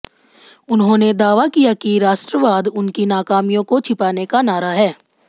उन्होंने दावा किया कि राष्ट्रवाद उनकी नाकामियों को छिपाने का नारा है